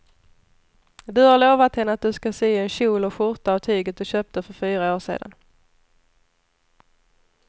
Du har lovat henne att du ska sy en kjol och skjorta av tyget du köpte för fyra år sedan.